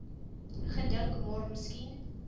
gedink maar miskien